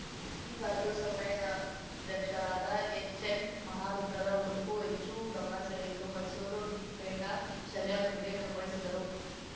ಈ ಬಾರಿಯು ಸಮ್ಮೇಳನಾಧ್ಯಕ್ಷರಾದ ಎಚ್‌ಎನ್‌ ಮಹಾರುದ್ರರ ಉಡುಪು ಹೆಚ್ಚು ಗಮನ ಸೆಳೆಯಿತು ಮೈಸೂರು ಪೇಟ ಶಲ್ಯದೊಂದಿಗೆ ಕಂಗೊಳಿಸಿದರು